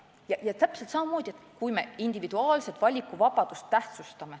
Ka seal me vahest täpselt samamoodi tähtsustame individuaalset valikuvabadust.